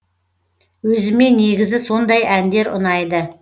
өзіме негізі сондай әндер ұнайды